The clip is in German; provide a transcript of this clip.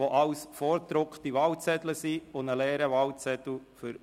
Morgen Vormittag um 9 Uhr werden wir zunächst zwei Vereidigungen vornehmen.